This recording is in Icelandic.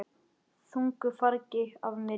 Þungu fargi af mér létt.